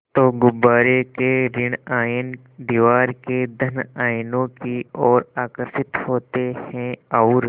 तो गुब्बारे के ॠण आयन दीवार के धन आयनों की ओर आकर्षित होते हैं और